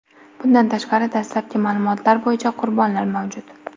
Bundan tashqari, dastlabki ma’lumotlar bo‘yicha, qurbonlar mavjud.